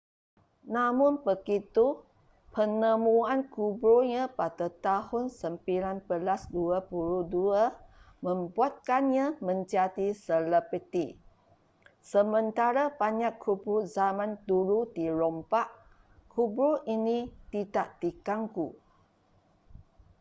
namun begitu penemuan kuburnya pada tahun 1922 membuatkannya menjadi selebriti sementara banyak kubur zaman dulu dirompak kubur ini tidak diganggu